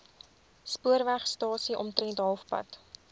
spoorwegstasie omtrent halfpad